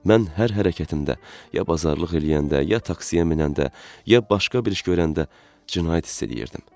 Mən hər hərəkətimdə ya bazarlıq eləyəndə, ya taksiyə minəndə, ya başqa bir iş görəndə cinayət hiss eləyirdim.